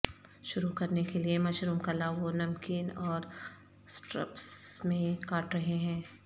شروع کرنے کے لئے مشروم کللا وہ نمکین اور سٹرپس میں کاٹ رہے ہیں